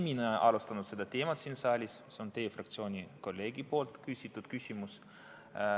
Mina ei alustanud selle teema arutelu siin saalis, selle algatas teie fraktsiooni liikme küsitud küsimus.